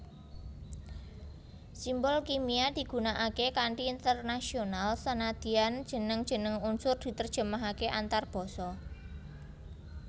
Simbol kimia digunakaké kanthi internasional sanadyan jeneng jeneng unsur diterjemahaké antarbasa